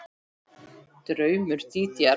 Draumur Dídíar